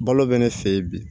Balo bɛ ne fɛ yen bi